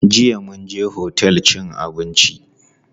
Jiya mun je otel cin abinci.